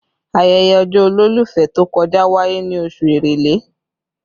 Ayẹyẹ ọjọ́ olólùfẹ́ tó kọjá wáyé ní oṣù èrèlé